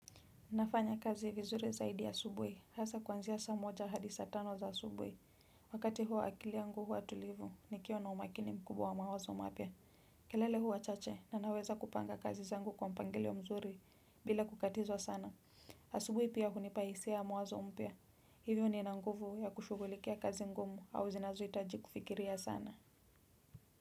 Nafanya kazi vizuri zaidi asubuhi. Hasa kuanzia saa moja hadi saa tano za asubuhi. Wakati huo akili yangu huwa tulivu, nikiwa na umakini mkubwa wa mawazo mapya. Kelele huwa chache, na naweza kupanga kazi zangu kwa mpangilio mzuri, bila kukatizwa sana. Asubuhi pia hunipa hisia ya mwanzo mpya. Hivyo nina nguvu ya kushughulikia kazi ngumu au zinazohitaji kufikiria sana.